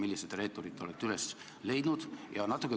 Millised reeturid te olete üles leidnud?